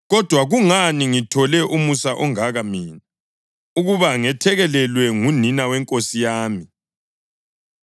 Kodwa kungani ngithole umusa ongaka mina, ukuba ngethekelelwe ngunina weNkosi yami?